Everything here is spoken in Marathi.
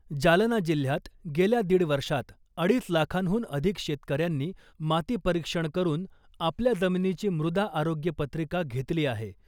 जालना जिल्ह्यात गेल्या दीड वर्षात अडीच लाखांहून अधिक शेतकऱ्यांनी माती परीक्षण करून आपल्या जमिनीची मृदा आरोग्य पत्रिका घेतली आहे .